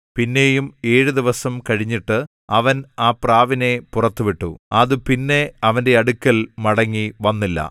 പിന്നെയും ഏഴ് ദിവസം കഴിഞ്ഞിട്ട് അവൻ ആ പ്രാവിനെ പുറത്തു വിട്ടു അത് പിന്നെ അവന്റെ അടുക്കൽ മടങ്ങിവന്നില്ല